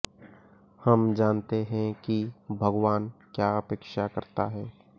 हम जानते हैं कि भगवान क्या अपेक्षा करता है